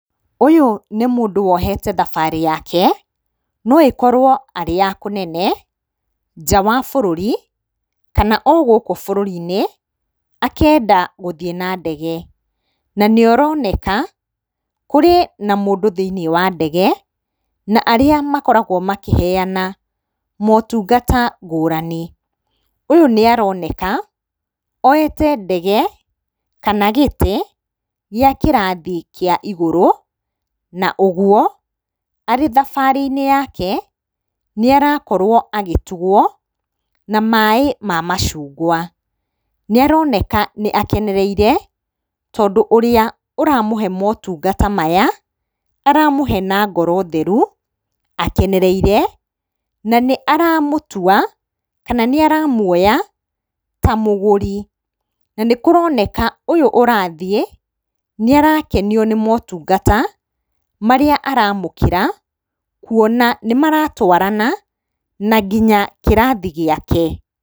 Ũyũ nĩ mũndũ wohete thabarĩ yake, no ĩkorwo arĩ ya kũnene, nja wa bũrũri, kana o gũkũ bũrũri-inĩ, akenda gũthiĩ na ndege, na nĩ ũroneka kũrĩ na mũndũ thĩiniĩ wa ndege, na arĩa makoragwo makĩheana motungata ngurani. Ũyũ nĩ aroneka oete ndege, kana gĩtĩ gĩa kĩrathi kĩa igũrũ, na ũguo, arĩ thabarĩ-inĩ yake, nĩ arakorwo agĩtugwo na maaĩ ma macungwa, nĩ aroneka nĩ akenereire tondũ ũrĩa ũramũhe motungata maya, aramũhe na ngoro theru, akenereire, na nĩ aramũtua kana nĩ aramũoya ta mũgũri. Na nĩ kũroneka, ũyũ arathiĩ, nĩ arakenio nĩ motungata marĩa aramũkĩra, kuona nĩ maratwarana na nginya kĩrathi gĩake.